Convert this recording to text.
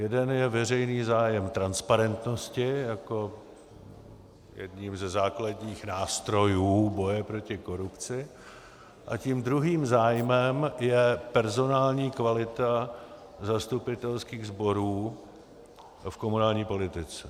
Jeden je veřejný zájem transparentnosti jako jeden ze základních nástrojů boje proti korupci a tím druhým zájmem je personální kvalita zastupitelských sborů v komunální politice.